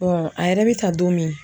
a yɛrɛ bɛ ta don min